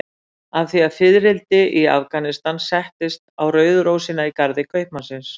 Af því að fiðrildi í Afganistan settist á rauðu rósina í garði kaupmannsins.